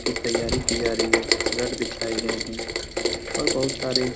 की तैयारी की जा रही रड बिछाए गए हैं और बहुत सारे --